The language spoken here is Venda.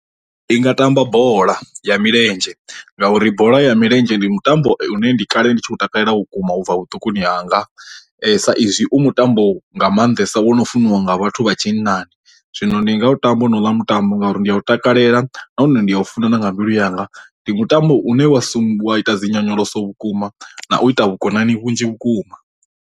I nga tamba bola ya milenzhe ngauri bola ya milenzhe ndi mutambo u ne ndi kale ndi tshi khou takalela vhukuma ubva vhuṱukuni hanga, sa izwi u mutambo nga maanḓesa wo no funiwa nga vhathu vha tshinnani zwino ndi nga u tamba na u ḽa mutambo ngauri ndi a u takalela nahone ndi a u funa na nga mbilu yanga, ndi mutambo une wa sumbedzwa ita dzi nyonyoloso vhukuma na u ita vhukonani vhunzhi vhukuma.